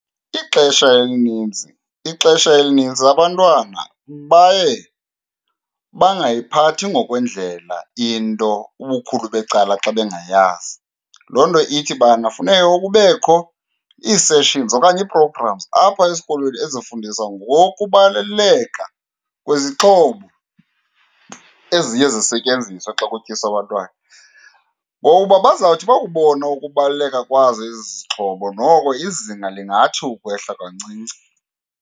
Ixesha elinintsi, ixesha elinintsi abantwana baye bangayiphathi ngokwendlela into ubukhulu becala xa bengayazi. Loo nto ithi ubana funeka kubekho ii-sessions okanye ii-programs apha esikolweni ezifundisa ngokubaluleka kwezixhobo eziye zisetyenziswe xa kutyiswa abantwana. Ngokuba bazawuthi bakubona ukubaluleka kwazo ezi zixhobo, noko izinga lingathi ukwehla kancinci.